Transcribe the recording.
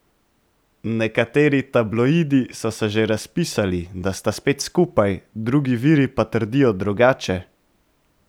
Nekateri tabloidi so se že razpisali, da sta spet skupaj, drugi viri pa trdijo drugače.